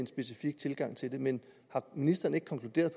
specifik tilgang til det men har ministeren ikke konkluderet